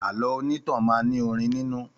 Àlọ́ onítàn máa ní orin nínú